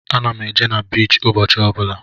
Ana m eje na biichi ụbọchị ọ bụla.